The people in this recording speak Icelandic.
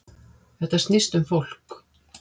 Þetta snýst um fólk